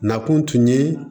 Na kun tun ye